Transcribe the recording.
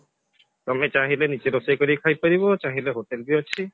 ତମେ ଚାହିଁଲେ ନିଜେ ରୋଷେଇ କରି ଖାଇ ପାରିବ ଚାହିଁଲେ hotel ବି ଅଛି